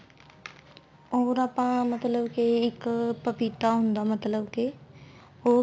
ਹੋਰ ਆਪਾਂ ਮਤਲਬ ਕੇ ਇੱਕ ਪਪੀਤਾ ਹੁੰਦਾ ਮਤਲਬ ਕੇ ਉਹ